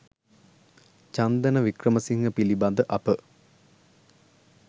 චන්දන වික්‍රමසිංහ පිළිබඳ අප